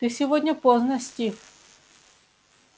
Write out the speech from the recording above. ты сегодня поздно стив